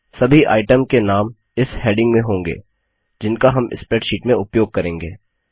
सभी आइटमचीज के नाम इस हैडिंग में होंगे जिनका हम स्प्रैडशीट में उपयोग करेंगे